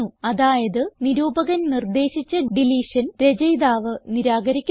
അതായത് നിരൂപകൻ നിർദ്ദേശിച്ച ഡിലീഷൻ രചയിതാവ് നിരാകരിക്കുന്നു